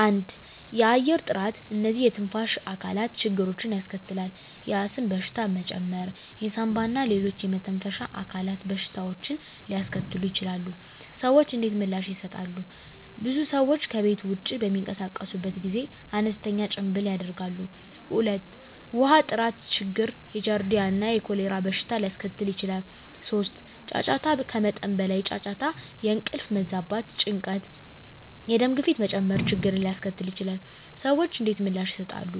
1. የአየር ጥራት *እነዚህ የትንፋሽ አካላት ችግሮችን ያስከትላል፣ የአስም በሽታ መጨመር የሳንባ እና ሌሎች የመተንፈሻ አካላት በሽታዎችን ሊያስከትሉ ይችላሉ። **ሰዎች እንዴት ምላሽ ይሰጣሉ? *ብዙ ሰዎች ከቤት ውጭ በሚንቀሳቀሱበት ጊዜ አነስተኛ ጭምብል ያደርጋሉ። 2. ውሃ ጥራት ችግር የጃርዲያ እና የኮሌራ በሽታ ሊያስከትል ይችላል። 3. ጫጫታ ከመጠን በላይ ጫጫታ የእንቅልፍ መዛባት፣ ጭንቀት፣ የደም ግፊት መጨመር ችግርን ሊያስከትል ይችላል። *ሰዎች እንዴት ምላሽ ይሰጣሉ?